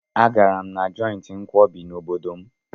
Agara m na jọịntị nkwọbi n'obodo m.